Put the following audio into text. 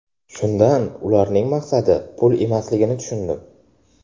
Shundan ularning maqsadi pul emasligini tushundim.